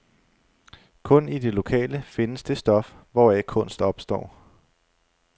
Kun i det lokale findes det stof, hvoraf kunst opstår.